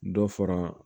Dɔ fara